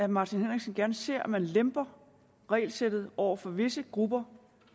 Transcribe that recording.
martin henriksen gerne ser at man lemper regelsættet over for visse grupper